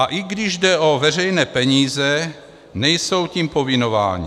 A i když jde o veřejné peníze, nejsou tím povinováni.